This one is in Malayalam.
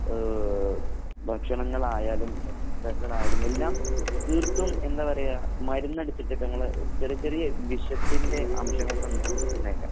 ഏഹ് ഭക്ഷണങ്ങളായാലും ആയാലും എല്ലാം തീർത്തും എന്താ പറയുക മരുന്നടിച്ചിട്ട് ഇപ്പൊ ങ്ങള് ചെറിയ ചെറിയ വിഷത്തിൻറെ അംശങ്ങളൊക്കെ ഉണ്ടായേക്കാം.